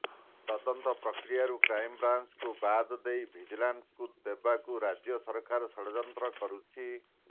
ତଦନ୍ତ ପ୍ରକ୍ରିୟାରୁ କ୍ରାଇମବ୍ରାଞ୍ଚକୁ ବାଦ୍ ଦେଇ ଭିଜିଲାନ୍ସକୁ ଦେବାକୁ ରାଜ୍ୟ ସରକାର ଷଡଯନ୍ତ୍ର କରୁଛି